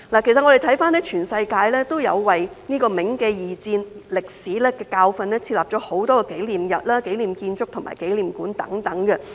其實，全世界也有為銘記二戰歷史的教訓設立很多紀念日、紀念建築和紀念館等。